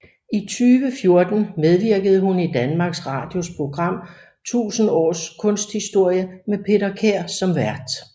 I 2014 medvirkede hun i Danmarks Radios program 1000 års kunsthistorie med Peter Kær som vært